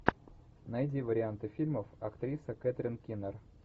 найди варианты фильмов актриса кэтрин кинер